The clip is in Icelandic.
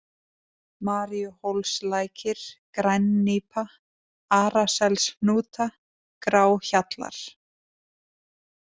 Maríuhólslækir, Grænnípa, Arasels-Hnúta, Gráhjallar